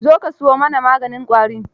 Zo ka siyo mana maganin ƙwari.